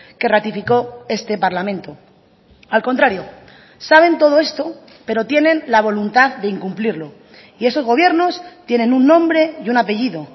que ratificó este parlamento al contrario saben todo esto pero tienen la voluntad de incumplirlo y esos gobiernos tienen un nombre y un apellido